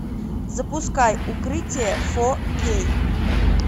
запускай укрытие фор кей